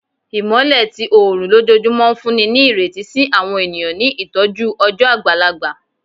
Imọlẹ ti oorun lojoojumọ n funni ni ireti si awọn eniyan ni itọju ọjọ agbalagba